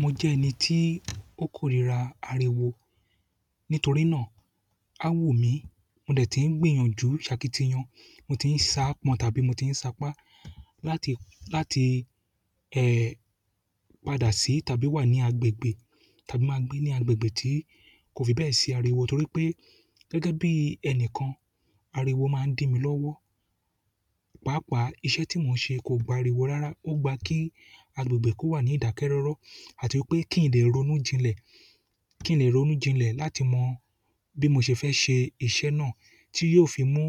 Mo jẹ́ ẹni tí ó kórira ariwo. Nítorí náà, a wun mí, mo dẹ̀ ti ń gbìyànjú ṣakitiyan, mo ti ń saápọn tàbí mo ti ń saápá láti, láti, ẹ́, padà sí tàbí wà ní agbègbè tàbí máa gbé ní agbègbè tí kò fi bẹ́ẹ̀ sí ariwo. Torí pé gẹ́gẹ́ bí ẹni kan, ariwo máa ń dí mi lọ́wọ́. Pàápàá iṣẹ́ tí mò ń ṣe kò gba ariwo rárá, ó gba kí agbègbè kó wà ní ìdákẹ́rọ́rọ́ àti pé kí n lè ronú jinlẹ̀, kí n lè ronú jinlẹ̀ láti mọ bí mo ṣe fẹ́ ṣe iṣẹ́ náà tí yóò fi mú